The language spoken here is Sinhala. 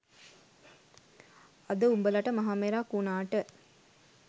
අද උඹලට මහ මෙරක් වුනාට